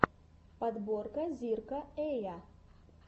подборка зирка эя